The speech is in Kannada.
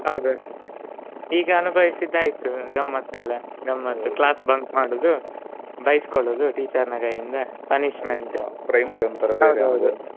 ಹೌದು ಈಗ ಅನುಭವಿಸಿದ್ದಾಯ್ತು ಗಮ್ಮತ್ತೆಲ್ಲ. ಗಮ್ಮತ್ತು class bunk ಮಾಡುದು. ಬೈಸ್ಕೊಳೋದು teacher ನ ಕೈಯಿಂದ .